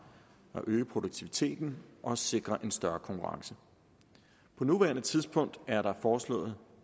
øge produktiviteten og sikre større konkurrence på nuværende tidspunkt er der foreslået